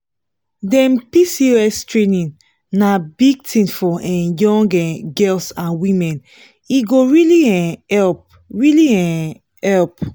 dem pcos training na big thing for um young um girls and women e go really um help. really um help.